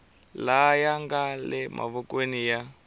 laya nga le mavokweni ya